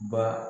Ba